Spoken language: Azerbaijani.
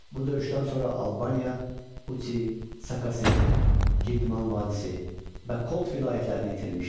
Bu döyüşdən sonra Albaniya Uti, Sakasen, Girdman vadisi və Kolt vilayətlərini itirmişdi.